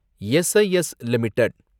S I S limited